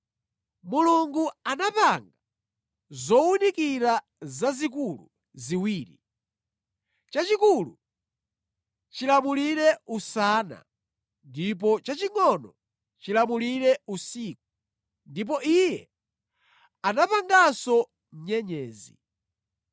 Mulungu anapanga zowunikira zazikulu ziwiri; chachikulu chilamulire usana ndi chachingʼono chilamulire usiku. Iye anapanganso nyenyezi.